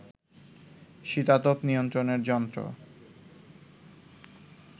শীতাতপ নিয়ন্ত্রণের যন্ত্র